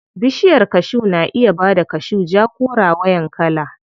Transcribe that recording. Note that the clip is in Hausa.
Bishiyar kashu na iya bada kashu ja ko rawayan kala.